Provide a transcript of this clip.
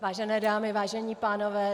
Vážené dámy, vážení pánové.